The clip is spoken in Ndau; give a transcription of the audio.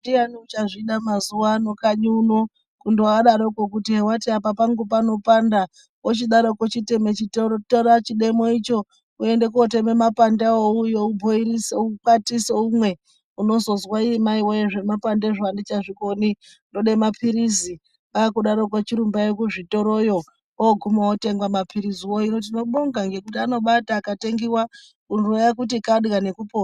Ndiyani uchazvida mazuvano kanyi uno kundoadaroko kuti wati apa pangu panopanda ochidaroko chiteme chitora chidemo icho uende koteme mapande avo uuye ubhoirise ukwatise umwe. Unozozwa ii mai woye zvemapandezvo andichazvikoni ndode mapirizi kwakudaroko chirumbai kuzvitoroyo ooguma otengwa mapiriziwo. Hino tinobonga ngokuti anobati akatengiwa huro yakuti kadiya nekupona.